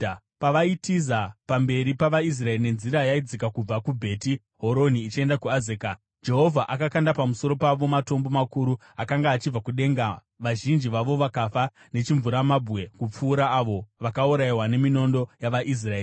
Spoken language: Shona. Pavaitiza pamberi pavaIsraeri nenzira yaidzika kubva kuBheti Horoni ichienda kuAzeka, Jehovha akakanda pamusoro pavo matombo makuru akanga achibva kudenga, vazhinji vavo vakafa nechimvuramabwe kupfuura avo vakaurayiwa neminondo yavaIsraeri.